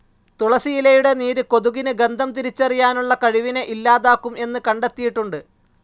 തുളസി ഇലയുടെ നീര് കൊതുകിന് ഗന്ധം തിരിച്ചറിയാനുള്ള കഴിവിനെ ഇല്ലാതാക്കും എന്ന് കണ്ടെത്തിയിട്ടുണ്ട്.